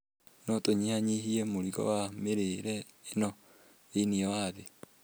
no tũnyihanyihie mũrigo wa mĩrimũ ĩno thĩ-inĩ wa thĩ.